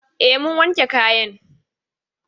E, mun wanke kayan.